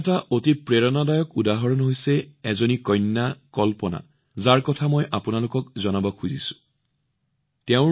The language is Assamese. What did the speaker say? ইয়াৰ এক অতি প্ৰেৰণাদায়ক উদাহৰণ হৈছে কল্পনা নামৰ এজনী ছোৱালী যাক মই আপোনালোক সকলোৰে সৈতে চিনাকি কৰাই দিব বিচাৰো